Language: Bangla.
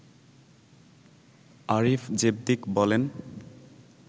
আরিফ জেবতিক বলেন